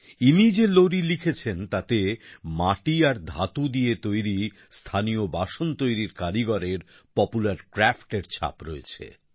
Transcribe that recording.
ইনি যে লোরি লিখেছেন তাতে মাটি আর ধাতু দিয়ে তৈরি স্থানীয় বাসন তৈরীর কারিগরের প্রপুলার Craftএর ছাপ রয়েছে